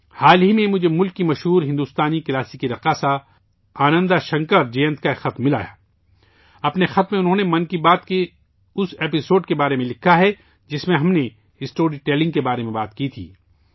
حال ہی میں مجھے ملک کی مشہور ہندوستانی شاستریہ رقاصہ آنندہ شنکر جینت کا ایک خط ملا ، اپنے خط میں انہوں نے ' من کی بات ' کے اس قسط کے بارے میں لکھا ہے جس میں ہم نے اسٹوری ٹیلننگ کے بارے میں گفتگو کی تھی